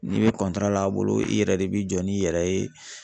N'i be l'a bolo i yɛrɛ de bi jɔ n'i yɛrɛ ye.